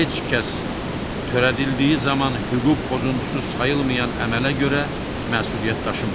Heç kəs törədildiyi zaman hüquq pozuntusu sayılmayan əmələ görə məsuliyyət daşımır.